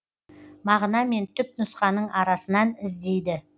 мағына мен түпнұсқаның арасынан іздейді